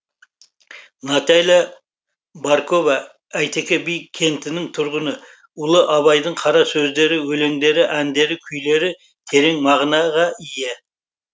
наталия баркова әйтеке би кентінің тұрғыны ұлы абайдың қара сөздері өлеңдері әндері күйлері терең мағынаға ие